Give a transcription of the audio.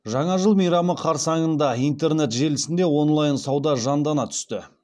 жаңа жыл мейрамы қарсаңында интернет желісінде онлайн сауда жандана түсті